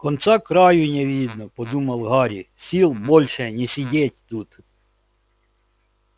конца-краю не видно подумал гарри сил больше не сидеть тут